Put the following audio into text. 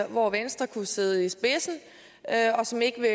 hvor venstre kunne sidde i spidsen og som ikke vil